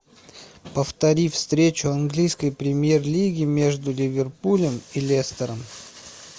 повтори встречу английской премьер лиги между ливерпулем и лестером